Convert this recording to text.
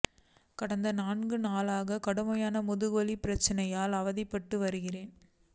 கடந்த நான்கு நாள்களாகக் கடுமையான முகுதுவலி பிரச்னையால் அவதிப்பட்டு வருகிறேன்